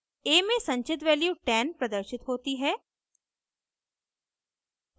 a में संचित value 10 प्रदर्शित होती है